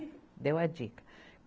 Deu a dica